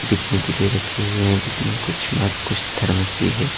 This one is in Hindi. बिकने के लिए रखे हुए हैं जिसमें कुछ मग कुछ थर्मस भी है।